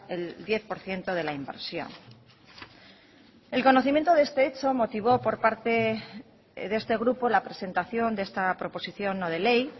el diez por ciento de la inversión el conocimiento de este hecho motivó por parte de este grupo la presentación de esta proposición no de ley